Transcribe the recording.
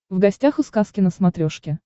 в гостях у сказки на смотрешке